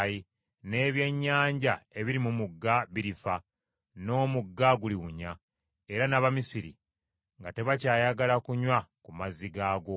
n’ebyennyanja ebiri mu mugga birifa, n’omugga guliwunya; era n’Abamisiri nga tebakyayagala kunywa ku mazzi gaagwo.’ ”